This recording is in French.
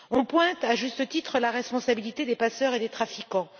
On pointe à juste titre la responsabilité des passeurs et des trafiquants.